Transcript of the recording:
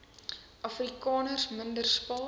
afrikaners minder spaar